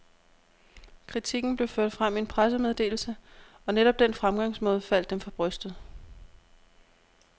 Kritikken blev ført frem i en pressemeddelse, og netop den fremgangsmåde faldt dem for brystet.